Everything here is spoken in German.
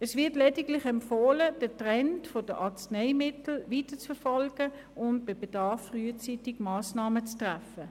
Es wird lediglich empfohlen, den Trend in Sachen Arzneimittelabgabe weiterhin zu verfolgen und bei Bedarf frühzeitig Massnahmen zu treffen.